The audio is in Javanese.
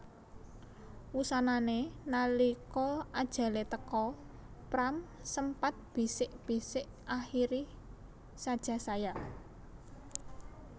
Wusanané nalika ajalé teka Pram sempat bisik bisik Akhiri saja saya